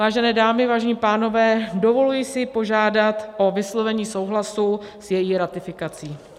Vážené dámy, vážení pánové, dovoluji se požádat o vyslovení souhlasu s její ratifikací.